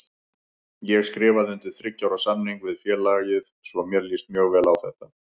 Ég skrifaði undir þriggja ára samning við félagið svo mér líst mjög vel á þetta.